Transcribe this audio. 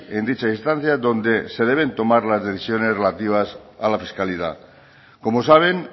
en dicha instancia donde se deben tomar las decisiones relativas a la fiscalidad como saben